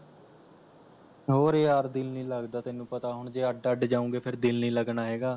ਹੋਰ ਯਾਰ ਦਿਲ ਨੀ ਲੱਗਦਾ ਤੈਨੂੰ ਪਤਾ ਹੁਣ ਜੇ ਅੱਡ ਅੱਡ ਜਾਉਂਗੇ ਫਿਰ ਦਿਲ ਨੀ ਲੱਗਣਾ ਹੈਗਾ